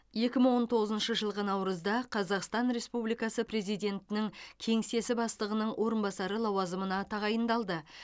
екі мың он тоғызыншы жылғы наурызда қазақстан республикасы президентінің кеңсесі бастығының орынбасары лауазымына тағайындалды